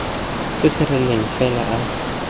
se se rileng fela a